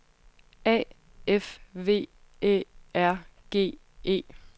A F V Æ R G E